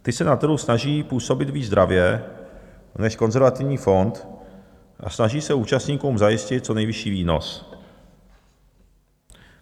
Ty se na trhu snaží působit víc dravě než konzervativní fond a snaží se účastníkům zajistit co nejvyšší výnos.